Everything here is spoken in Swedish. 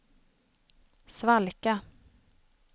svalka